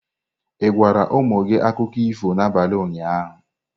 Ị gwara ụmụ gị akụkọ ifo n'abalị ụnyaahụ?